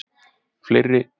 fleiri nöfn